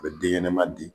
A bɛ den ɲɛnɛma di